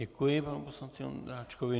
Děkuji panu poslanci Ondráčkovi.